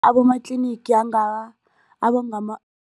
Abomatlinigi